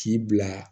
K'i bila